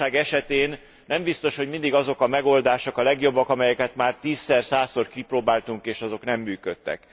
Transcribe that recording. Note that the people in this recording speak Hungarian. Egy válság esetén nem biztos, hogy mindig azok a megoldások a legjobbak, amelyeket már tízszer, százszor kipróbáltunk, és azok nem működtek.